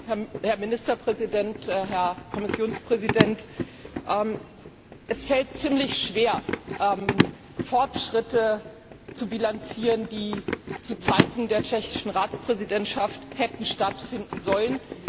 Herr Präsident, Herr Ministerpräsident, Herr Kommissionspräsident! Es fällt ziemlich schwer, Fortschritte zu bilanzieren, die zu Zeiten der tschechischen Ratspräsidentschaft hätten stattfinden sollen.